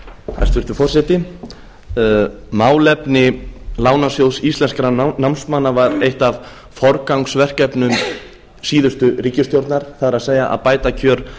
hæstvirtur forseti málefni lánasjóðs íslenskra námsmanna var eitt af forgangsverkefnum síðustu ríkisstjórnar það er að bæta kjör